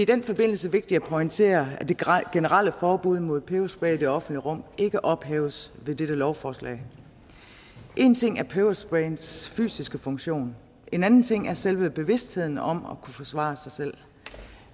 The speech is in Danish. den forbindelse vigtigt at pointere at det generelle forbud mod peberspray i det offentlige rum ikke ophæves ved dette lovforslag én ting er pebersprayens fysiske funktion en anden ting er selve bevidstheden om at kunne forsvare sig selv